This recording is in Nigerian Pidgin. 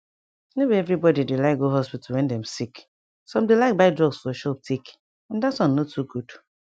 no be everybody dey like go hospital wen dem sick some dey like buy drugs for shop take and that one no too good